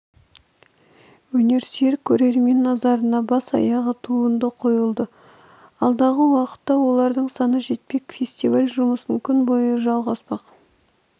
өнерсүйер көрермен назарына бас-аяғы туынды қойылды алдағы уақытта олардың саны жетпек фестиваль жұмысы күн бойы жалғаспақ